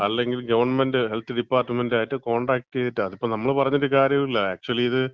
അല്ലെങ്കിൽ government health ഡിപ്പാർട്ട്മെന്‍റായിട്ട് contact ചെയ്തിട്ടോ, അതിപ്പം നമ്മള് പറഞ്ഞിട്ട് കാര്യല്യ. ആക്ച്യലി ഇത്